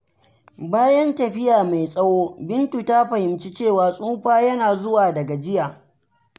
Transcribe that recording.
Bayan tafiya mai tsawo, Bintu ta fahimci cewa tsufa yana zuwa da gajiya.